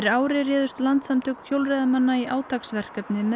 ári réðust Landssamtök hjólreiðamanna í átaksverkefni með